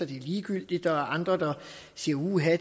det er ligegyldigt og andre siger uha